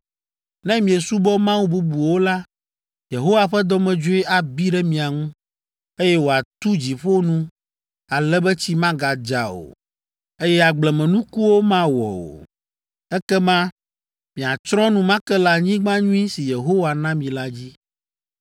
Ne miesubɔ mawu bubuwo la, Yehowa ƒe dɔmedzoe abi ɖe mia ŋu, eye wòatu dziƒo nu ale be tsi magadza o, eye agblemenukuwo mawɔ o. Ekema miatsrɔ̃ enumake le anyigba nyui si Yehowa na mi la dzi,